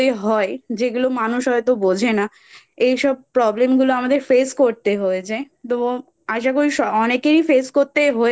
হয় যেগুলো মানুষ হয়তো শারীরিক Problem আমাদের মধ্যে হয় যেগুলো মানুষ হয়তো বোঝে না এইসব Problem আমাদের Face করতে হয়েছে তো আশা করি অনেককেই Face করতে হয়েছে